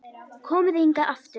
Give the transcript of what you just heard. Komið þið hingað aftur!